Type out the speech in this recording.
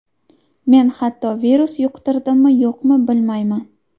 Men hatto virus yuqtirdimmi-yo‘qmi, bilmayman.